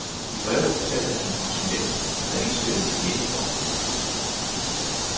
I brevet fortalte han om sin ven, der havde indspillet et demobånd.